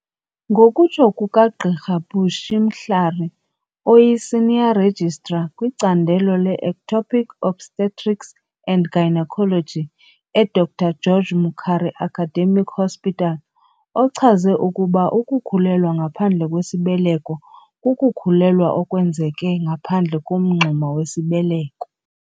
Ngokutsho kukaGqr Bushy Mhlari, oyi-Senior Registrar kwicandelo le-Ectopic Obstetrics and Gynaecology e-Dr George Mukhari Academic Hospital, ochaze ukuba ukukhulelwa ngaphandle kwesibeleko kukukhulelwa okwenzeke ngaphandle komngxuma wesibeleko.